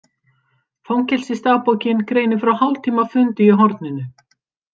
Fangelsisdagbókin greinir frá hálftíma fundi í horninu.